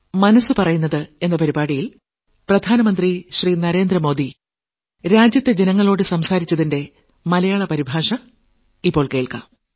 മനസ്സ് പറയുന്നത് 53ാം ലക്കം